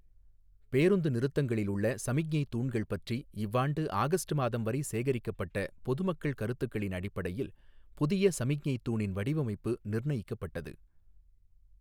பேருந்து நிறுத்தங்களில் உள்ள சமிக்ஞை தூண்கள் பற்றி இவ்வாண்டு ஆகஸ்ட் மாதம் வரை சேகரிக்கப் பட்ட பொதுமக்கள் கருத்துகளின் அடிப்படையில் புதிய சமிக்ஞை தூணின் வடிவமைப்பு நிர்ணயிக்கப்பட்டது.